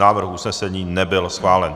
Návrh usnesení nebyl schválen.